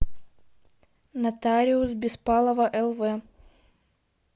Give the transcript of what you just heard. нотариус беспалова лв